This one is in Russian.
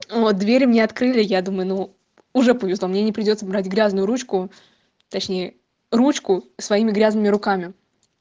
ну вот дверь не открыли я думаю ну уже понял что мне не придётся убрать грязную ручку точнее ручку своими грязными руками